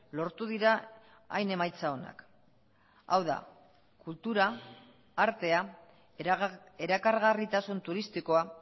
lortu dira hain emaitza onak hau da kultura artea erakargarritasun turistikoa